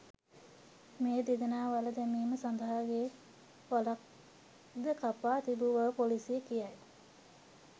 මේ දෙදෙනා වළ දැමීම සඳහා ගේ වළක් ද කපා තිබු බව පොලීසිය කියයි.